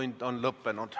Infotund on lõppenud.